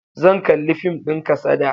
Zan kalli fim din kasada.